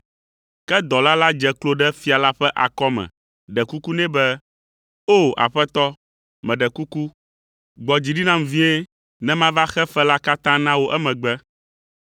“Ke dɔla la dze klo ɖe fia la ƒe akɔme ɖe kuku nɛ be, ‘O, Aƒetɔ, meɖe kuku, gbɔ dzi ɖi nam vie, ne mava xe fe la katã na wò emegbe.’